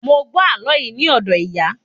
Mo gbọ àlọ yìí ni odo ìyà